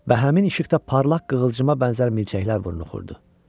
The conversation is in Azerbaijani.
Və həmin işıqda parlaq qığılcığa bənzər milçəklər vurnuxurdu.